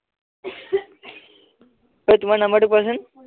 অই তোমাৰ নাম্বাৰটো কোৱাচোন